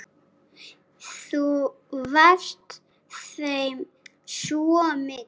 Þú varst þeim svo mikið.